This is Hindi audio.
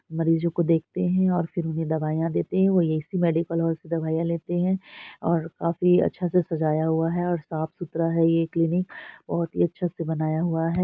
मरीजो को देखते हैं और फिर उन्हें दवाइया देते है वो मेडिकल हॉल की दवाईया लेते है और काफी अच्छे से सजाया हुआ है और साफ-सुथरा है ये क्लिनिक बहुत ही अच्छे से बनाया हुआ है।